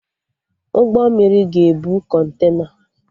Ụgbọ mmiri ga-ebu Kọntena